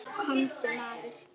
Komdu maður.